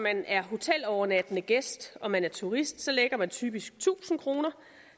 at man er hotelovernattende gæst og man er turist så lægger man typisk tusind kroner